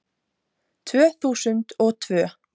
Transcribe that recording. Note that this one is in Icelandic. Tvö þúsund og tvö